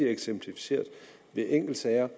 eksemplificeret ved enkeltsager